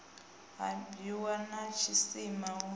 ha bwiwa na tshisima u